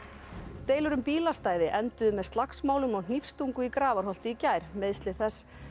deilur um bílastæði enduðu með slagsmálum og í Grafarholti í gær meiðsli þess